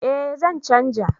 Eh zan canja